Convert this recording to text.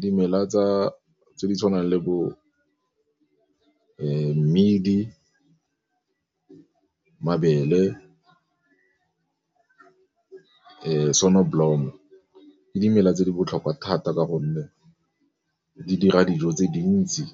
Dimela tse di tshwanang le bo mmidi, mabele, ke dimela tse di botlhokwa thata ka gonne di dira dijo tse dintsi